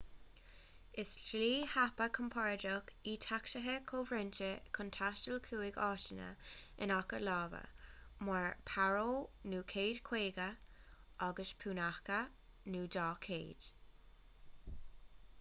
is slí thapa chompordach í tacsaithe comhroinnte chun taisteal chuig áiteanna in aice láimhe mar paro nu 150 agus punakha nu 200